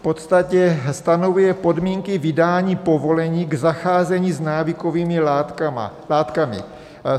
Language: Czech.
V podstatě stanovuje podmínky vydání povolení k zacházení s návykovými látkami.